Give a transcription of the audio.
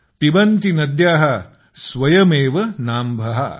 पिबन्ति नद्यः स्वयमेव नाम्भः